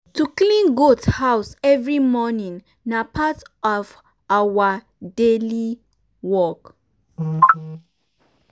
to clean goat house every morning na part of our every day work.